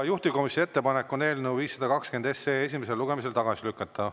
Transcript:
Juhtivkomisjoni ettepanek on eelnõu 520 esimesel lugemisel tagasi lükata.